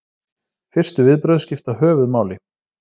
Fyrstu viðbrögð skipta höfuðmáli.